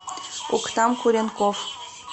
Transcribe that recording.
октан куренков